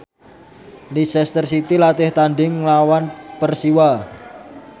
Leicester City latih tandhing nglawan Persiwa